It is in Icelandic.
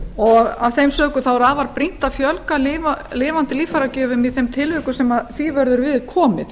og af þeim sökum er afar brýnt að fjölga lifandi líffæragjöfum í þeim tilvikum sem því verður við komið